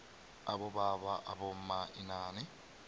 abobaba abomma inani